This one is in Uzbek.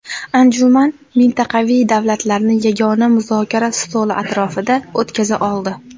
Anjuman mintaqaviy davlatlarni yagona muzokara stoli atrofida o‘tkaza oldi.